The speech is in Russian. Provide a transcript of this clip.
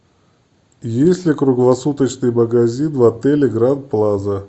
есть ли круглосуточный магазин в отеле гранд плаза